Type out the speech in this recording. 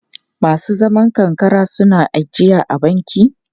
Masu zaman karkara suna ijiya a banki?